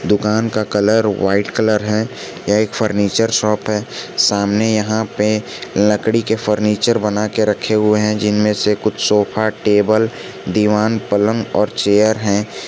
दुकान का colour white colour है यह एक फर्नीचर शॉप है सामने यहां पे लकड़ी के फर्नीचर बनाकर रखे हुए हैं जिनमें से कुछ सोफा टेबल दीवान पलंग और चेयर है।